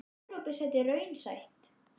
Er Evrópusæti raunsætt?